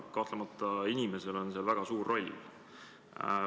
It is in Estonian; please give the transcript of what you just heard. Kahtlemata on inimesel seal suur roll.